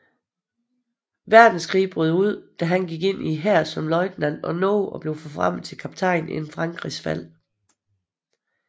Verdenskrig brød ud gik han ind i hæren som løjtnant og nåede at blive forfremmet til kaptajn inden Frankrigs fald